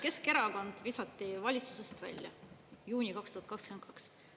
Keskerakond visati valitsusest välja, juuni 2022.